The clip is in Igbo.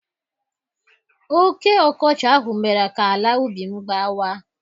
Oké ọkọchị ahụ mere ka ala ubi m gbawa.